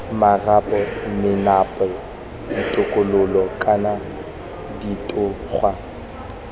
marapo menape ditokololo kana ditogwa